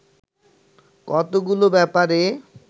কতগুলো ব্যাপারে